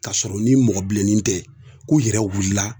K'a sɔrɔ ni mɔgɔ bilennin tɛ ko i yɛrɛ wulila